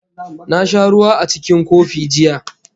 Na sha ruwa a cikin kofi jiya